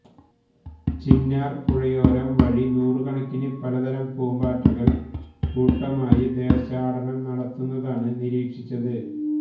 ചിന്നാര് പുഴയോരം വഴി നൂറുകണക്കിന് പലതരം പൂമ്പാറ്റകള് കൂട്ടമായി ദേശാടനം നടത്തുന്നതാണ് നിരീക്ഷിച്ചത്